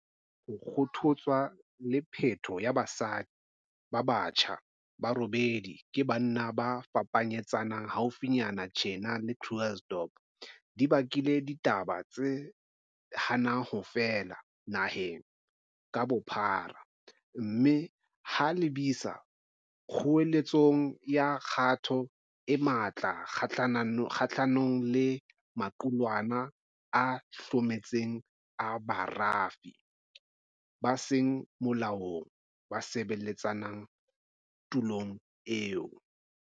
Ho kgothotswa le peto ya basadi ba batjha ba robedi ke banna ba fapanyetsana haufinyana tjena Krugersdorp di bakile ditaba di hana ho fela naheng ka bophara mme ha lebisa kgoeletsong ya kgato e matla kgahlanong le maqulwana a hlometseng a barafi ba seng molaong ba sebeletsang tulong eo.